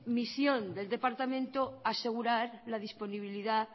misión del departamento asegurar la disponibilidad